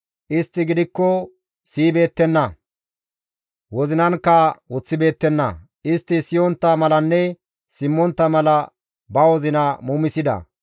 Istti gidikko siyibeettenna; wozinankka woththibeettenna; istti siyontta malanne simmontta mala ba wozina muumisida.